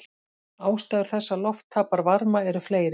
Ástæður þess að loft tapar varma eru fleiri.